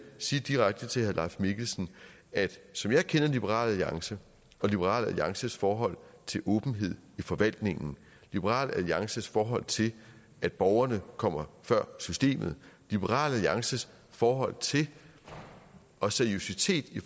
sige direkte til herre leif mikkelsen at som jeg kender liberal alliance og liberal alliances forhold til åbenhed i forvaltningen liberal alliances forhold til at borgerne kommer før systemet liberal alliances forhold til og seriøsitet i